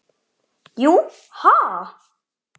Jú. ha?